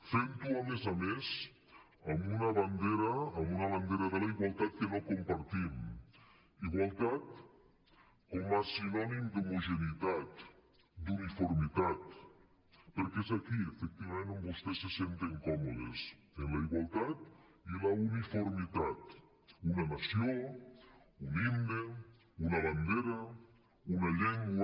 fent ho a més a més amb una bandera amb una bandera de la igualtat que no compartim igualtat com a sinònim d’homogeneïtat d’uniformitat perquè és aquí efectivament on vostès se senten còmodes en la igualtat i la uniformitat una nació un himne una bandera una llengua